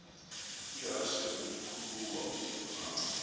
ihashe ngumkhulawa uam